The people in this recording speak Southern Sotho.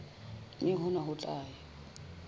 mme hona ho tla ya